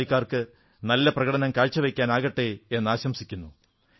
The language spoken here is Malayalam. ബാക്കി കളിക്കാർക്ക് നല്ല പ്രകടം കാഴ്ചവയ്ക്കാനാകട്ടെ എന്നാശംസിക്കുന്നു